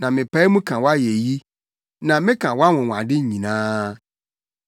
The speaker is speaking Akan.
na mepae mu ka wʼayeyi na meka wʼanwonwade nyinaa.